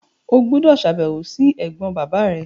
O gbúdọ̀ sàbẹ̀wò si ẹ̀gbọ́n bàbá rẹ!